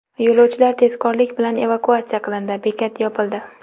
Yo‘lovchilar tezkorlik bilan evakuatsiya qilindi, bekat yopildi.